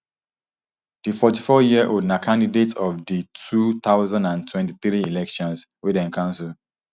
di forty-fouryearold na candidate of di two thousand and twenty-three elections wey dem cancel